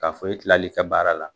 K'a fɔ e kilali ka baara la